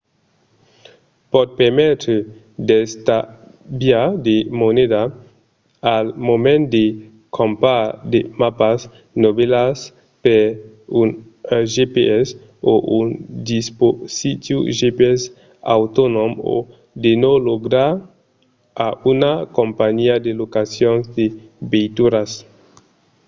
pòt permetre d'estalviar de moneda al moment de crompar de mapas novèlas per un gps o un dispositiu gps autonòm o de ne logar un a una companhiá de locacions de veituras